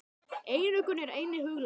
Einokun er einnig huglæg.